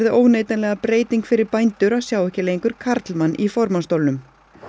óneitanlega breyting fyrir bændur að sjá ekki lengur karlmann í formannsstólnum